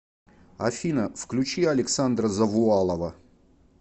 афина включи александра завуалова